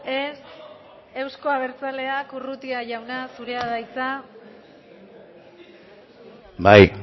ez euzko abertzaleak urrutia jauna zurea da hitza bai